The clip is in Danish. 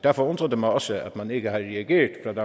derfor undrer det mig også at man ikke har reageret